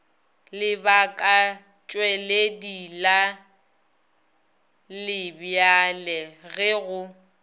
lebakatšweledi la lebjale ge go